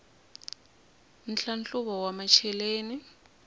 nhlahluvo wa macheleni